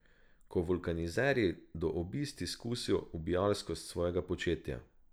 Ko vulkanizerji do obisti skusijo ubijalskost svojega početja.